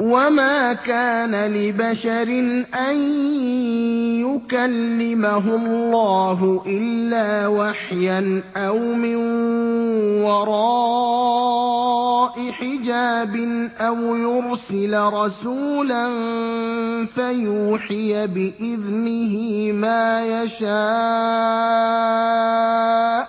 ۞ وَمَا كَانَ لِبَشَرٍ أَن يُكَلِّمَهُ اللَّهُ إِلَّا وَحْيًا أَوْ مِن وَرَاءِ حِجَابٍ أَوْ يُرْسِلَ رَسُولًا فَيُوحِيَ بِإِذْنِهِ مَا يَشَاءُ ۚ